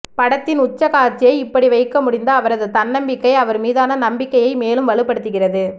படத்தின் உச்சகாட்சியை இப்படி வைக்க முடிந்த அவரது தன்னம்பிக்கை அவர் மீதான நம்பிக்கையை மேலும் வலுப்படுத்துகிறது